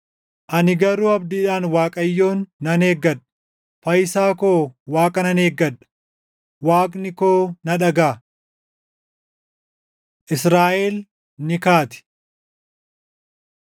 Ani garuu abdiidhaan Waaqayyoon nan eeggadha; fayyisaa koo Waaqa nan eeggadha; Waaqni koo na dhagaʼa. Israaʼel ni Kaati